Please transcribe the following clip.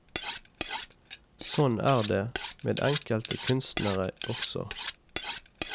Sånn er det med enkelte kunstnere også.